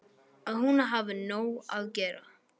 Að hún hafi nóg að gera.